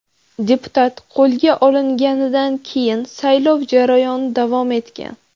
Deputat qo‘lga olinganidan keyin saylov jarayoni davom etgan.